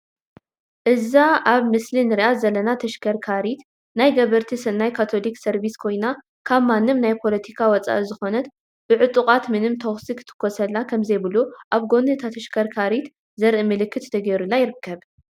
እዛ ኣብ ምስሊ እንሪኣ ዘለና ተሽከርካሪ ናይ ገበርቲ ስናይ ካቶሊክ ሰርቪስ ኮይና ካብ ማንም ናይ ፖለቲካ ወፃኢ ስለዝኾነት ብዕጡቋት ምንም ተኹሲ ክትኮሰላ ከም ዘይብሉ ኣብ ጎኒ እታ ተሽክርካሪት ዘር ኢ ምልክት ተገይሩላ ይርከብ ።